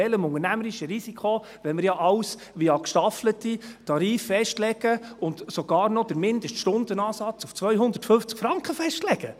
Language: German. Welchem unternehmerischen Risiko, wenn wir ja alles via gestaffelte Tarife festlegen und sogar noch den Mindeststundenansatz auf 250 Franken festlegen?